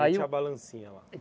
Aí. Tinha a balancinha lá.